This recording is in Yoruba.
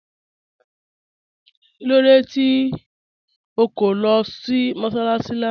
Kílódé tí o kọ̀ lọ́ sí mọ́sálaṣì lána?